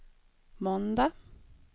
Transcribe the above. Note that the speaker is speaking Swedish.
måndag